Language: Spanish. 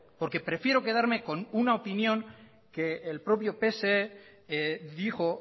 porque prefiero quedarme con una opinión que el propio pse dijo